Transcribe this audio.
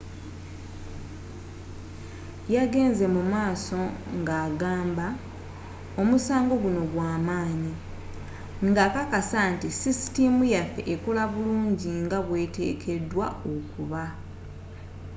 yagenze mumaaso nga agamba omusango gunno gwamaanyi nga akakasa nti sisitiimu yaffe ekola bulungi nga bweteekedwa okuba